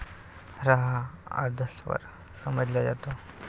रहा अर्धस्वर समजला जातो.